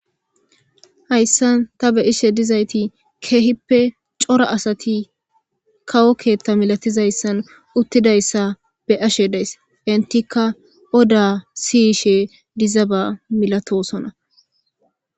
Haysan ta beyizayti cora asati kawo ketha malatizason utidaysa beyashe days etika oda siyishe diza milatosona.